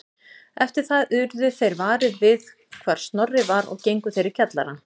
Eftir það urðu þeir varir við hvar Snorri var og gengu þeir í kjallarann